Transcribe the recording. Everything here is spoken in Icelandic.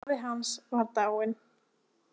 Afi hans var dáinn.